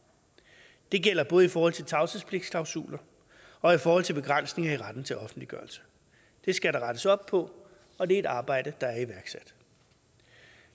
det gælder både i forhold til tavshedsklausuler og i forhold til begrænsning af retten til offentliggørelse det skal der rettes op på og det er et arbejde der er iværksat